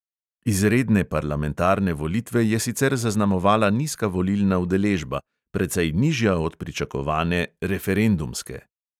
Izredne parlamentarne volitve je sicer zaznamovala nizka volilna udeležba, precej nižja od pričakovane "referendumske".